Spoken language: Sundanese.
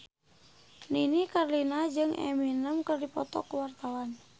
Nini Carlina jeung Eminem keur dipoto ku wartawan